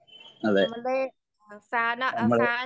അതെ നമ്മള്